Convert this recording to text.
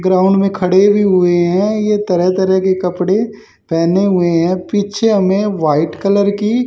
ground में खड़े भी हुए हैं ये तरह तरह के कपड़े पहने हुए हैं पीछे हमें व्हाइट कलर की--